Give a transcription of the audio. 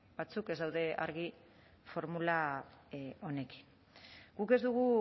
batzuk ez daude argi formula honekin guk ez dugu